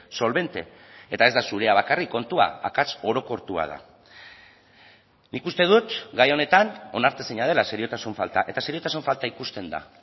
solvente eta ez da zurea bakarrik kontua akats orokortua da nik uste dut gai honetan onartezina dela seriotasun falta eta seriotasun falta ikusten da